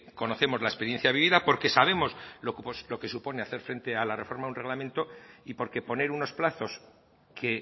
conocemos la experiencia vivida porque sabemos lo que supone hacer frente a la reforma de un reglamento y porque poner unos plazos que